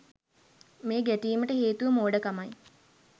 මේ ගැටීමට හේතුව මෝඩකමයි